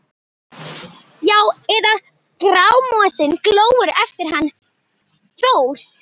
Já- eða Grámosinn glóir eftir hann Thor?